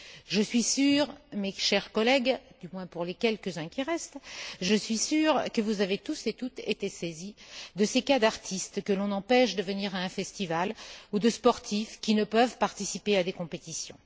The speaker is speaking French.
Je suis sûre, mes chers collègues, du moins pour les quelques uns qui restent, que vous avez tous été saisis de ces cas d'artistes que l'on empêche de venir à un festival ou de ces sportifs qui ne peuvent participer à des compétitions.